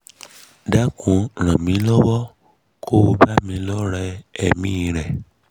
dákun ràn mí lọ́wọ́ ko bá mi lọ́re èmí i rẹ̀